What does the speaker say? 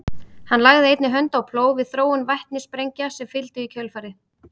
hann lagði einnig hönd á plóg við þróun vetnissprengja sem fylgdu í kjölfarið